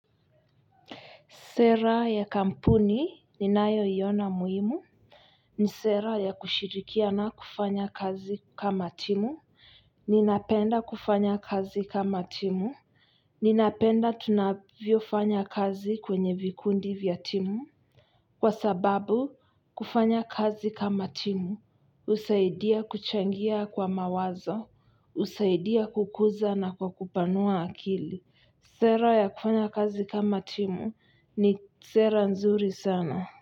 Sera ya kampuni ni nayoiona muhimu. Ni sera ya kushirikiana kufanya kazi kama timu. Ninapenda kufanya kazi kama timu. Ninapenda tunavyo fanya kazi kwenye vikundi vya timu. Kwa sababu, kufanya kazi kama timu usaidia kuchangia kwa mawazo, usaidia kukuza na kwa kupanua akili. Sera ya kufanya kazi kama timu ni sera nzuri sana.